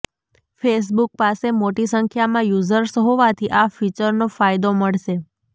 Facebook પાસે મોટી સંખ્યામાં યૂઝર્સ હોવાથી આ ફીચરનો ફાયદો મળશે